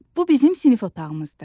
Bu bizim sinif otağımızdır.